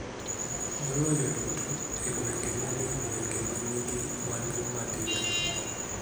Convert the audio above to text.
Maloyo duto e gwenge ma ni e gwenge ma nigi mwandu matindo.